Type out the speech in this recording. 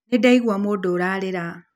Nĩ ndaigua mũndũ ũrarĩra.